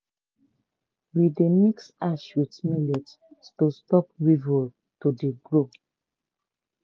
we dey mix ash with millet to stop weevil to dey grow